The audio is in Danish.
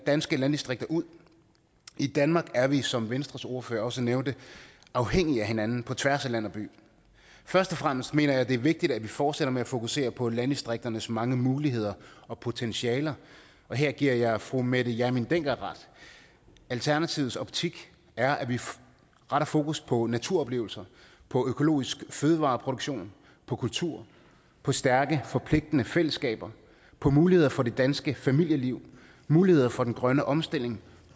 danske landdistrikter ud i danmark er vi som venstres ordfører også nævnte afhængige af hinanden på tværs af land og by først og fremmest mener jeg det er vigtigt at vi fortsætter med at fokusere på landdistrikternes mange muligheder og potentialer og her giver jeg fru mette hjermind dencker ret alternativets optik er at vi retter fokus på naturoplevelser på økologisk fødevareproduktion på kultur på stærke forpligtende fællesskaber på muligheder for det danske familieliv muligheder for den grønne omstilling